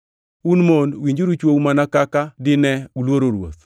Un mon winjuru chwou mana kaka dine uluoro Ruoth.